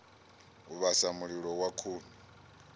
u vhasa mililo wa khuni